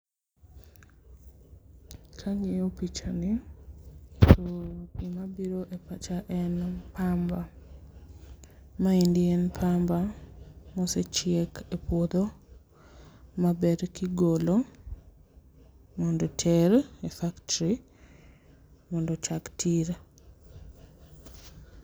Kang'iyo pichani pur gima biro e pacha en pamba, maendi en pamba ma osechiek e puodho maber kigolo mondo oter e factory mondo ochak tiyo